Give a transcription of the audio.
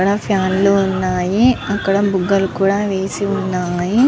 అక్కడ ఫ్యాన్ లు ఉన్నాయి. అక్కడ బుగ్గలు కూడా వేసి ఉన్నాయి.